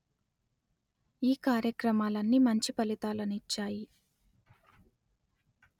ఈ కార్యక్రమాలన్నీ మంచి ఫలితాలను ఇచ్చాయి